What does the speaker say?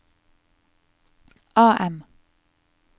AM